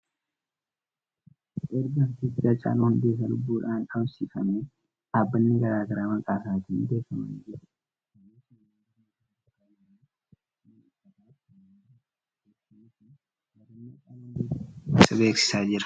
Erga Artisti Haacaaluun Hundeessaa lubbuudhaan dhabamsiifamee dhaabbanni garaa garaa maqaa isaatiin hundeeffamanii jiru. Isaanis: manneen barnootaa sadarkaa olaanoo, mana uffataa fi kanneen biroodha. Beeksisni kun yaadannoo Haacaaluu Hundeessaaf beeksisa beeksisaa jira.